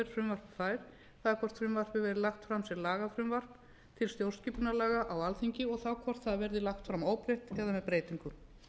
fær það er hvort frumvarpið verði lagt fram sem lagafrumvarp til stjórnarskipunarlaga á alþingi og þá hvort það verði lagt fram óbreytt eða með breytingum